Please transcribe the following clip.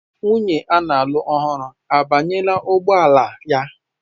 Nwunye a na-alụ ọhụrụ abanyela n'ụgbọ ala ya?